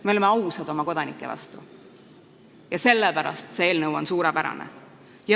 Me oleme ausad oma kodanike vastu ja sellepärast on see eelnõu suurepärane.